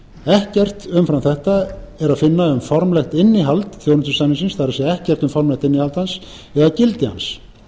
ekkert umfram þetta er að finna um formlegt innihald þjónustusamningsins það er ekkert um formlegt innihald hans eða gildi hans ákvæðið